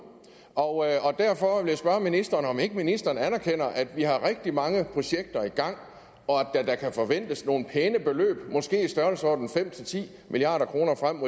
og derfor vil jeg spørge ministeren om ikke ministeren anerkender at vi har rigtig mange projekter i gang og at der da kan forventes nogle pæne beløb måske i størrelsesordenen fem ti milliard kroner frem